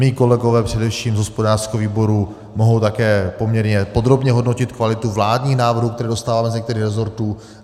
Mí kolegové především z hospodářského výboru mohou také poměrně podrobně hodnotit kvalitu vládních návrhů, které dostáváme z některých resortů.